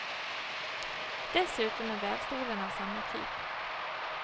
Dessutom är vävstolen av samma typ.